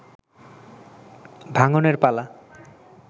ভাঙনের পালা